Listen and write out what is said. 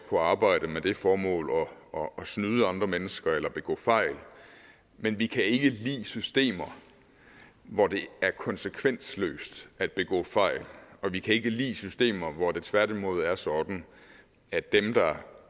på arbejde med det formål at snyde andre mennesker eller begå fejl men vi kan ikke lide systemer hvor det er konsekvensløst at begå fejl og vi kan ikke lide systemer hvor det tværtimod er sådan at dem der